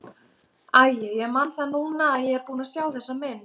Æi, ég man það núna að ég er búinn að sjá þessa mynd.